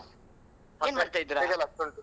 ಏನ್ ಮಾಡ್ತಿದ್ದೀರಾ .